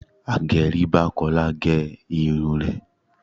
Agẹrí bá Kọ́lá gẹ irun rẹ̀.